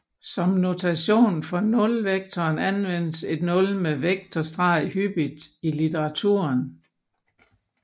Som notation for nulvektoren anvendes et nul med vektorstreg hyppigt i litteraturen